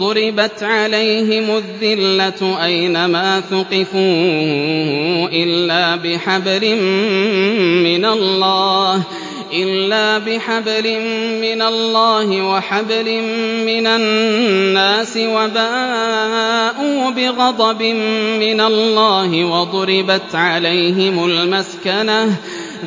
ضُرِبَتْ عَلَيْهِمُ الذِّلَّةُ أَيْنَ مَا ثُقِفُوا إِلَّا بِحَبْلٍ مِّنَ اللَّهِ وَحَبْلٍ مِّنَ النَّاسِ وَبَاءُوا بِغَضَبٍ مِّنَ اللَّهِ وَضُرِبَتْ عَلَيْهِمُ الْمَسْكَنَةُ ۚ